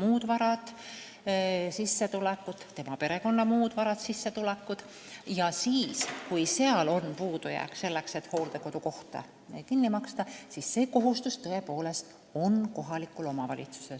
muud varad ja sissetulekud, tema perekonna muud varad ja sissetulekud –, aga on puudujääk hooldekodukoha maksmisel, siis on sotsiaalhoolekande seadusega pandud kohustus tõepoolest kohalikule omavalitsusele.